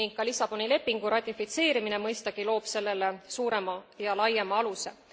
Ning ka Lissaboni lepingu ratifitseerimine, mõistagi, loob sellele suurema ja laiema aluse.